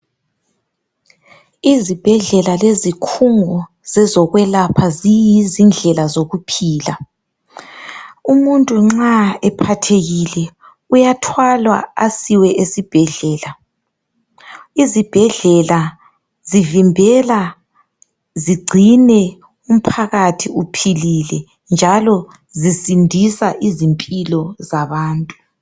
Izibhedlela zezikhungu zezokwelapha ziyi zindlela zokuphila. Umuntu nxa ephathekile uyathwalwa asiwe esibhedlela. Izibhedlela zivimbela zigcine umphakathi uphilile njalo zisindisa izimpilo zabantu.